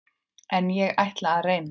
En ég ætla að reyna.